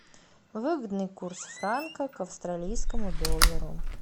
выгодный курс франка к австралийскому доллару